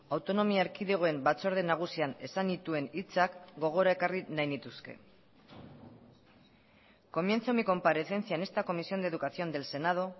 autonomia erkidegoen batzorde nagusian esan nituen hitzak gogora ekarri nahi nituzke comienzo mi comparecencia en esta comisión de educación del senado